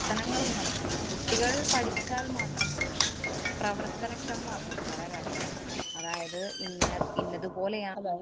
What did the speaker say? ~ത്തനങ്ങളൊന്നും നടക്കുന്നില്ല. കുട്ടികള്‍ പഠിച്ചാല്‍ മാത്രം പോരാ. അത് പ്രവര്‍ത്തനക്ഷമമാക്കണം പല കാര്യങ്ങളും. അതായത് ഇന്ന ഇന്നത്‌ പോലെയാണ്